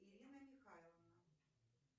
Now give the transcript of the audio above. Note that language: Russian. ирина михайловна